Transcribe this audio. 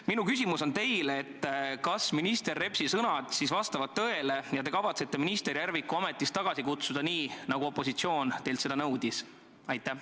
Minu küsimus teile: kas minister Repsi sõnad vastavad tõele ja te kavatsete minister Järviku ametist tagasi kutsuda, nii nagu opositsioon teilt nõudis?